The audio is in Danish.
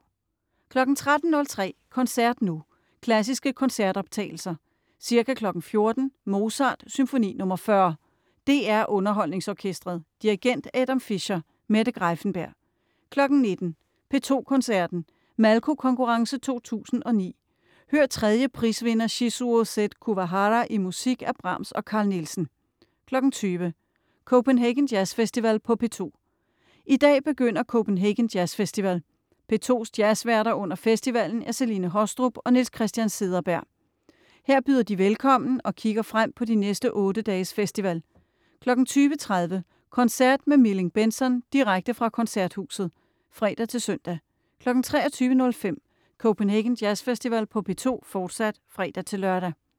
13.03 Koncert nu. Klassiske koncertoptagelser. Ca. 14.00 Mozart: Symfoni nr. 40. DR UnderholdningsOrkestret. Dirigent: Adam Fischer. Mette Greiffenberg. 19.00 P2 Koncerten. Malko Konkurrence 2009. Hør 3. prisvinder Shizuo Z Kuwahara i musik af Brahms og Carl Nielsen. 20.00 Copenhagen Jazz Festival på P2 I dag begynder Copenhagen Jazz Festival. P2's jazzværter under festivalen er Celine Haastrup og Niels Christian Cederberg. Her byder de velkommen og kigger frem på de næste otte dages festival. 20.30 Koncert med Milling/Bentzon - direkte fra Koncerthusets (fre-søn) 23.05 Copenhagen Jazz Festival på P2, fortsat (fre-lør)